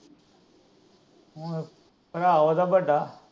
ਭਰਾ ਉਹਦਾ ਵੱਡਾ।